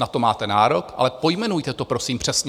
Na to máte nárok, ale pojmenujte to prosím přesně.